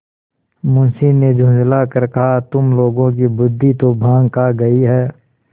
मुंशी ने झुँझला कर कहातुम लोगों की बुद्वि तो भॉँग खा गयी है